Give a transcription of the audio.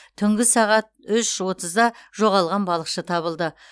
түнгі сағат үш отызда жоғалған балықшы табылды